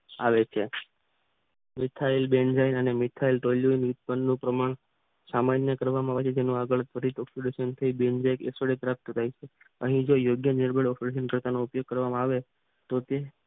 આવે છે. મિથાઇલ બેન જળ અને ઇથાઇલ ઉત્પન્નનુ પ્રમાણ સામાન્ય કરવામાં તેનું આગળ ઓકસીડેશન જે પ્રાપ્ત થઈ છે અહીં જે યોગ્ય કરવામાં આવે તો તે